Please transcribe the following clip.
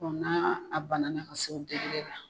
Dɔnku n'a banana ka se degere la.